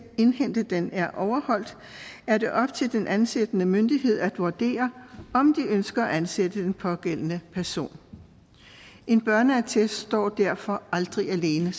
indhente den er overholdt er det op til den ansættende myndighed at vurdere om de ønsker at ansætte den pågældende person en børneattest står derfor aldrig alene